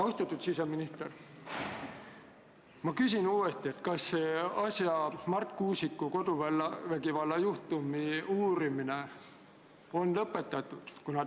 Austatud siseminister, ma küsin uuesti: kas Marti Kuusiku koduvägivallajuhtumi uurimine on lõpetatud?